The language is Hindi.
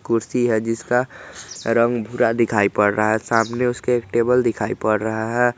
कुर्सी है जिसका रंग भूरा दिखाई पड़ रहा है सामने उसके एक टेबल दिखाई पड़ रहा है।